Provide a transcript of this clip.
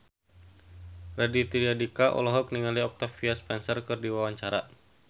Raditya Dika olohok ningali Octavia Spencer keur diwawancara